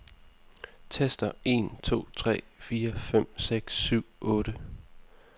Tester en to tre fire fem seks syv otte.